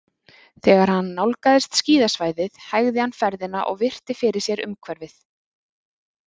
Þegar hann nálgaðist skíðasvæðið hægði hann ferðina og virti fyrir sér umhverfið.